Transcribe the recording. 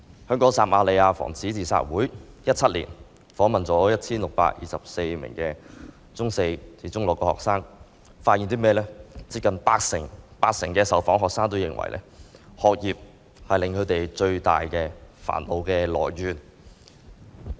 香港撒瑪利亞防止自殺會在2017年訪問了 1,624 名中四至中六學生，發現近八成受訪學生認為，學業是他們最大的煩惱來源。